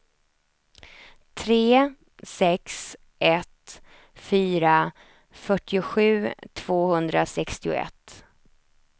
tre sex ett fyra fyrtiosju tvåhundrasextioett